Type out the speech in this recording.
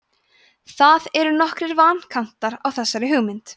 það eru nokkrir vankantar á þessari hugmynd